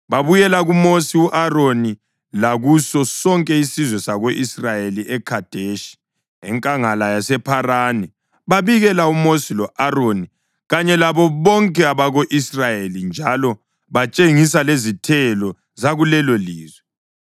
Babuyela kuMosi lo-Aroni lakuso sonke isizwe sako-Israyeli eKhadeshi, enkangala yasePharani. Babikela uMosi lo-Aroni kanye labo bonke abako-Israyeli njalo batshengisa lezithelo zakulelolizwe.